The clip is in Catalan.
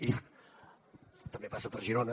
i també passa per girona